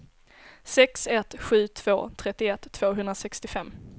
sex ett sju två trettioett tvåhundrasextiofem